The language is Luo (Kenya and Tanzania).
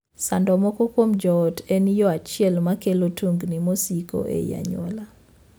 Sando moko kuom joot en yoo achiel ma kelo tungni mosiko ei anyuola.